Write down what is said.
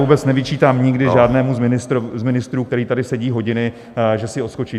Vůbec nevyčítám nikdy žádnému z ministrů, který tady sedí hodiny, že si odskočí.